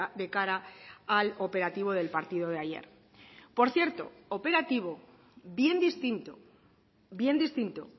de cara al operativo del partido de ayer por cierto operativo bien distinto bien distinto